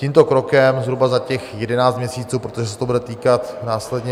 Tímto krokem zhruba za těch 11 měsíců, protože se to bude týkat následně...